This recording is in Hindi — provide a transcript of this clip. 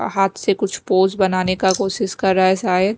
हाथ से कुछ पोज बनाने का कोशिश कर रहा हैशायद।